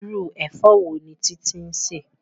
Irú ẹ̀fọ́ wo ni Titi ń sè?